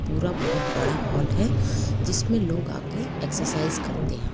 पुरा बड़ा हाल है जिसमें लोग आकर एक्सरसाइज करते है।